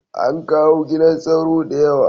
An kawo gidan sauro da yawa